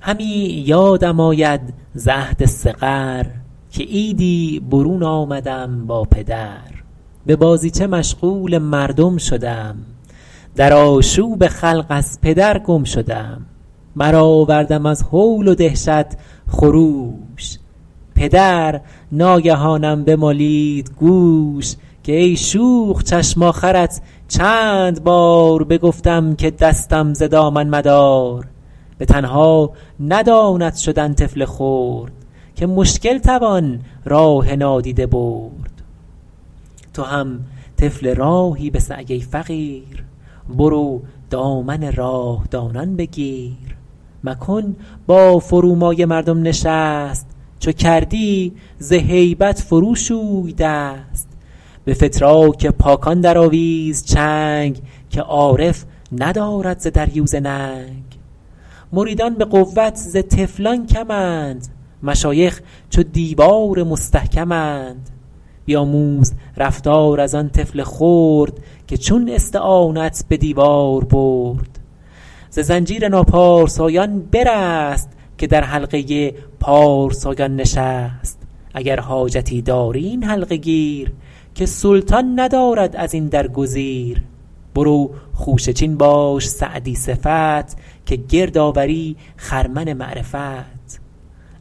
همی یادم آید ز عهد صغر که عیدی برون آمدم با پدر به بازیچه مشغول مردم شدم در آشوب خلق از پدر گم شدم برآوردم از هول و دهشت خروش پدر ناگهانم بمالید گوش که ای شوخ چشم آخرت چند بار بگفتم که دستم ز دامن مدار به تنها نداند شدن طفل خرد که مشکل توان راه نادیده برد تو هم طفل راهی به سعی ای فقیر برو دامن راه دانان بگیر مکن با فرومایه مردم نشست چو کردی ز هیبت فرو شوی دست به فتراک پاکان درآویز چنگ که عارف ندارد ز دریوزه ننگ مریدان به قوت ز طفلان کمند مشایخ چو دیوار مستحکمند بیاموز رفتار از آن طفل خرد که چون استعانت به دیوار برد ز زنجیر ناپارسایان برست که در حلقه پارسایان نشست اگر حاجتی داری این حلقه گیر که سلطان ندارد از این در گزیر برو خوشه چین باش سعدی صفت که گرد آوری خرمن معرفت